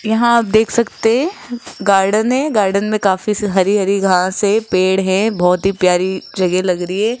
यहां आप देख सकते गार्डन है गार्डन में काफी हरी हरी घास है पेड़ है बहोत ही प्यारी जगह लग रही है।